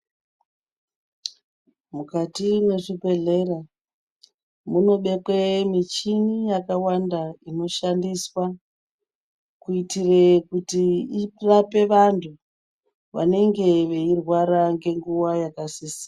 Mukati mwezvibhedhlera munobekwe michini yakawanda inoshandiswa. Kuitire kuti irape vantu vanenge veirwara nemunguva yakasisira.